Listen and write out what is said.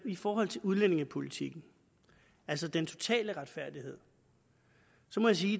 i forhold til udlændingepolitikken altså den totale retfærdighed så må jeg sige